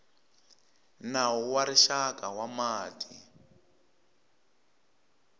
nawu wa rixaka wa mati